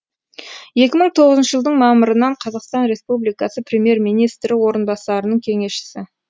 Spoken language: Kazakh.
екі мың тоғызыншы жылдың мамырынан қазақстан республикасы премьер министрі орынбасарының кеңесшісі